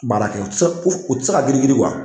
Baara kɛ u tɛ se u tɛ se ka giri giri